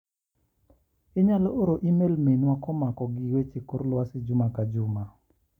Inyalo oro imel Minwa komako gi weche kor luasi juma ka juma.